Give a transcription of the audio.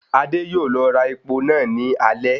Adé yóò lọ ra epo náà ní alẹ́